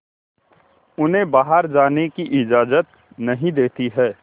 उन्हें बाहर जाने की इजाज़त नहीं देती है